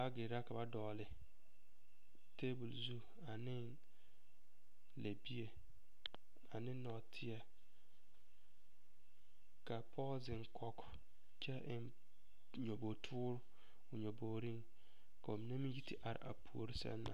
Baagere la ka ba dɔgle tabol zu ane lɛbie ane nɔɔteɛ ka pɔge zeŋ kɔge kyɛ eŋ nyɔbogtoore o nyɔbogriŋ ka ba mine meŋ yi te are a puori seŋ na.